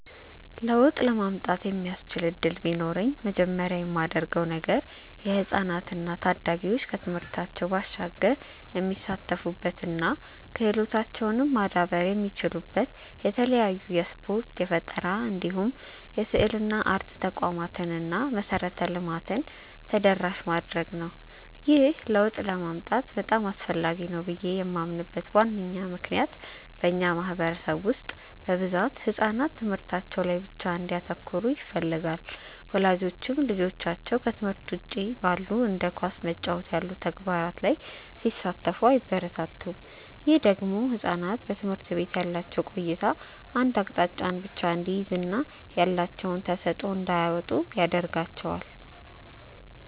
ለውጥ ለማምጣት የሚያስችል እድል ቢኖረኝ መጀመሪያ ማደርገው ነገር የህፃናት እና ታዳጊዎች ከትምህርታቸው ባሻገር የሚሳተፉበት እና ክህሎታቸውም ማዳበር የሚችሉበት የተለያዩ የስፖርት፣ የፈጠራ እንዲሁም የስዕልና አርት ተቋማትን እና መሰረተ ልማትን ተደራሽ ማድረግ ነው። ይህ ለውጥ በጣም አስፈላጊ ነው ብዬ ማምንበት ዋነኛ ምክንያት በእኛ ማህበረሰብ ውስጥ በብዛት ህጻናት ትምህርታቸው ላይ ብቻ እንዲያተኩሩ ይፈለጋል። ወላጆችም ልጆቻቸው ከትምህርት ውጪ ባሉ እንደ ኳስ መጫወት ያሉ ተግባራት ላይ ሲሳተፉ አያበረታቱም። ይህ ደግሞ ህጻናት በትምህርት ቤት ያላቸው ቆይታ አንድ አቅጣጫን ብቻ እንዲይዝ እና ያላቸውን ተሰጥዖ እንዳያወጡ ያረጋቸዋል።